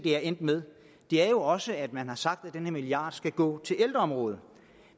er endt med er jo også at man har sagt at den her milliard skal gå til ældreområdet